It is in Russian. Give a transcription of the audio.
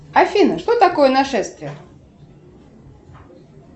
афина что такое нашествие